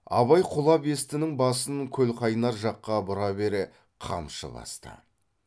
абай құлабестінің басын көлқайнар жаққа бұра бере қамшы басты